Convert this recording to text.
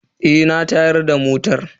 Eh na tayar da motan.